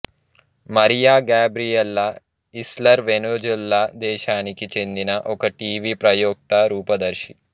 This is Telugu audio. మారియా గాబ్రియెలా ఇస్లర్ వెనుజులా దేశానికి చెందిన ఒక టీవీ ప్రయోక్త రూపదర్శి